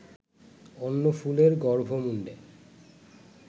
অন্য ফুলের গর্ভমুণ্ডে